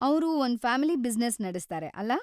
ಅವ್ರು ಒಂದು family business ನಡೆಸ್ತಾರೆ, ಅಲಾ?